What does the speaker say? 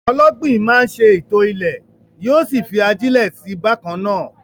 Ọlọ́gbìn máa ń ṣètò ilẹ̀, yóò sì fi ajílẹ̀ sí i bákan náà.